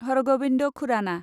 Har Gobind Khurana